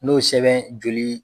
N'o sɛbɛn joli